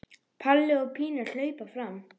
Palli og Pína hlaupa fram.